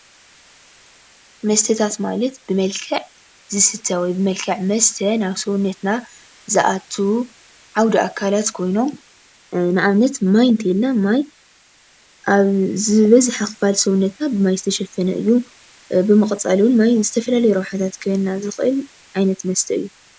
መስተታት ማለት ብመልክዕ ዝስተ ወይ ብመልክዕ መስተ ናብ ሰውነትና ዝኣቱ ዓውደ ኣካላት ኮይኖም ንኣብነት ማይ እንተይልና ማይ ኣብ ዝበዝሐ ክፋል ሰውነትና ብማይ ዝተሸፈነ እዩ፡፡ ብምቕፃል ውን ማይ ንዝተፈላለዩ ረብሓ ክበና ዝኽእል ዓይነት መስተ እዩ፡፡